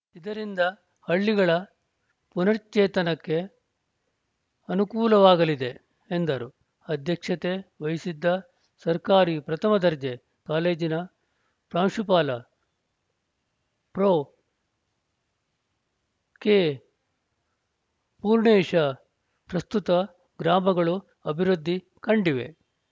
ಇದರಿಂದ ಹಳ್ಳಿಗಳ ಪುನಶ್ಚೇತನಕ್ಕೆ ಅನುಕೂಲವಾಗಲಿದೆ ಎಂದರು ಅಧ್ಯಕ್ಷತೆ ವಹಿಸಿದ್ದ ಸರ್ಕಾರಿ ಪ್ರಥಮ ದರ್ಜೆ ಕಾಲೇಜಿನ ಪ್ರಾಂಶುಪಾಲ ಪ್ರೊ ಕೆಪೂರ್ಣೇಶ ಪ್ರಸ್ತುತ ಗ್ರಾಮಗಳು ಅಭಿವೃದ್ಧಿ ಕಂಡಿವೆ